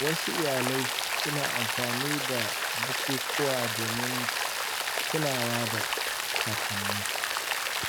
Wasu iyalai suna amfani da bukukuwa domin tunawa da kakanni.